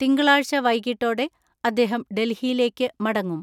തിങ്കളാഴ്ച വൈകിട്ടോടെ അദ്ദേഹം ഡൽഹിയിലേക്ക് മടങ്ങും.